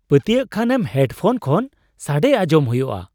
ᱯᱟᱹᱛᱭᱟᱹᱜ ᱠᱷᱟᱱᱮᱢ headphone ᱠᱷᱚᱱ ᱥᱟᱹᱰᱮ ᱟᱸᱡᱚᱢ ᱦᱩᱭᱩᱜᱼᱟ ᱾